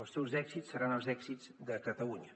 els seus èxits seran els èxits de catalunya